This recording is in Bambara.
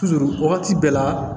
wagati bɛɛ la